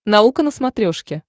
наука на смотрешке